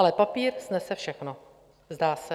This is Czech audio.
Ale papír snese všechno, zdá se.